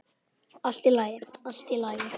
Allt í lagi, allt í lagi.